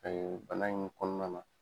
bana in kɔnɔna na.